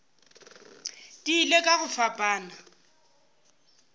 di ile ka go fapana